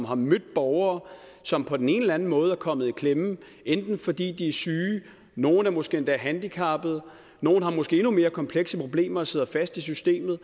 har mødt borgere som på den ene eller den anden måde er kommet i klemme fordi de er syge nogen er måske endda handicappede nogen har måske endnu mere komplekse problemer og sidder fast i systemet